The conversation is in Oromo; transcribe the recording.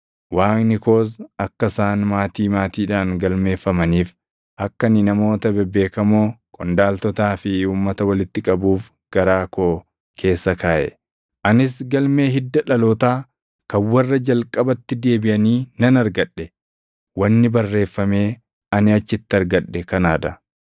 Waaqni koos akka isaan maatii maatiidhaan galmeeffamaniif akka ani namoota bebeekamoo, qondaaltotaa fi uummata walitti qabuuf garaa koo keessa kaaʼe. Anis galmee hidda dhalootaa kan warra jalqabatti deebiʼanii nan argadhe. Wanni barreeffamee ani achitti argadhe kanaa dha: